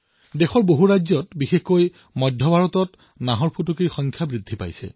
দেশৰ অধিকাংশ ৰাজ্যত বিশেষকৈ মধ্য ভাৰতত বাঘৰ সংখ্যা বৃদ্ধি হৈছে